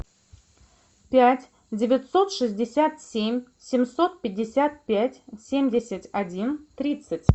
пять девятьсот шестьдесят семь семьсот пятьдесят пять семьдесят один тридцать